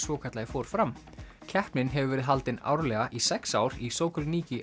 svokallaði fór fram keppnin hefur verið haldin árlega í sex ár í